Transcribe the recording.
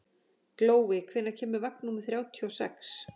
Glói, hvenær kemur vagn númer þrjátíu og sex?